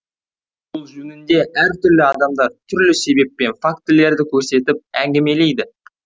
бұл жөнінде әртүрлі адамдар түрлі себеп пен фактілерді көрсетіп әңгімелейді